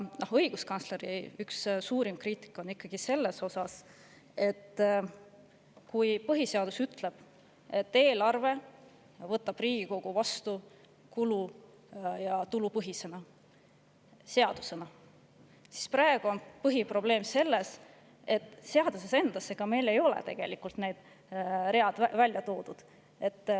Õiguskantsleri kriitika seda, et kui põhiseadus ütleb, et eelarve võtab Riigikogu seadusena vastu kulu- ja tulupõhisena, siis praegu on põhiprobleem selles, et seaduses meil ei ole neid ridu välja toodud.